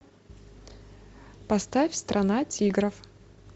поставь страна тигров